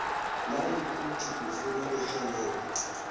nayikuthi ufuna irhelebho